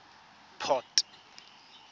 port